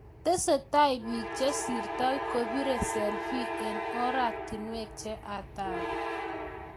Tesasksei biik chesirtoi kobire selfi eng koratinwek che hatari